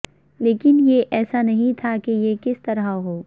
لیکن یہ ایسا نہیں تھا کہ یہ کس طرح ہو